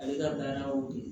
Ale ka baara y'o ye